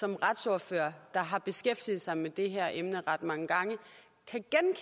som retsordfører der har beskæftiget sig med det her emne ret mange gange